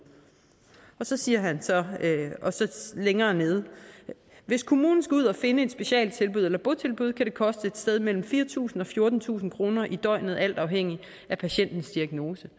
så siger han videre at hvis kommunen skal ud og finde et specialtilbud eller et botilbud kan det koste et sted mellem fire tusind og fjortentusind kroner i døgnet alt afhængigt af patientens diagnose